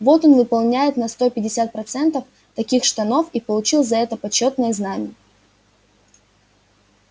вот он выполняет на сто пятьдесят процентов таких штанов и получил за это почётное знамя